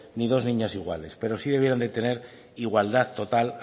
ni dos niñas iguales pero sí debieran de tener igualdad total